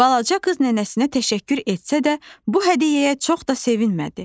Balaca qız nənəsinə təşəkkür etsə də, bu hədiyyəyə çox da sevinmədi.